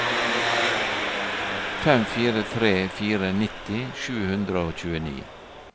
fem fire tre fire nitti sju hundre og tjueni